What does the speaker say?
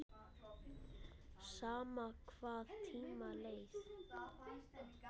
Sama hvað tímanum leið.